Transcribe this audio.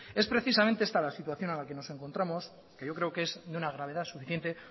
es precisamente esta la situación en la que nos encontramos que yo creo que es de una gravedad suficiente